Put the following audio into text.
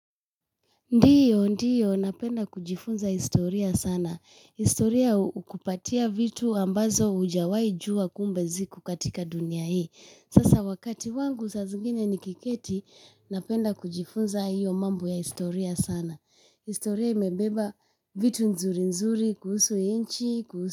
Ndiyo, ndiyo, napenda kujifunza historia sana. Historia hukupatia vitu ambazo hujawai jua kumbe ziko katika dunia hii. Sasa wakati wangu sa zingine nikiketi, napenda kujifunza hiyo mambo ya historia sana. Historia imebeba vitu nzuri nzuri, kuhusu inchi, kuhusu.